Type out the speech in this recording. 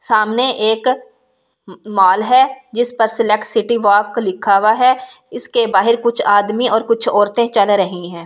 सामने एक मॉल है जिस पर सिलेक्ट सिटी वॉक लिखा हुआ है इसके बाहर कुछ आदमी और कुछ औरतें चल रही हैं।